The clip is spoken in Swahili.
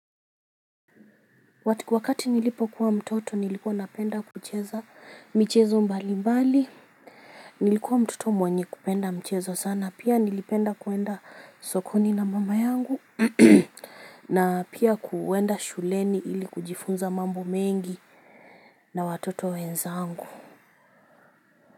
Wakati nilipo kuwa mtoto nilikuwa napenda kucheza michezo mbali mbali nilikuwa mtoto mwenye kupenda michezo sana pia nilipenda kwenda sokoni na mama yangu na pia kwenda shuleni ili kujifunza mambo mengi na watoto wenzangu.